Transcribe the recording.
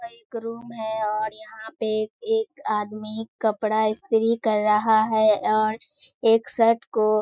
एक रूम है और यहां पे एक आदमी कपड़ा स्‍त्री कर रहा है और एक शर्ट को --